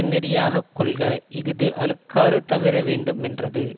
நெறியாக கொள்க இஃது அழுக்காறு தவிரவேண்டு மென்றது